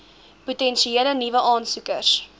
potensiële nuwe aansoekers